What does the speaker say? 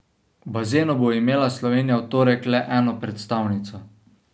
V bazenu bo imela Slovenija v torek le eno predstavnico.